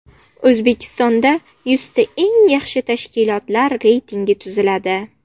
O‘zbekistonda yuzta eng yaxshi tashkilotlar reytingi tuziladi.